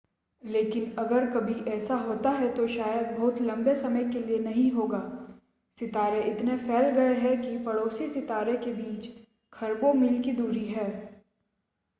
लेकिन अगर कभी ऐसा होता है तो शायद बहुत लंबे समय के लिए नहीं होगा सितारे इतने फैल गए हैं कि पड़ोसी सितारों के बीच खरबों मील की दूरी है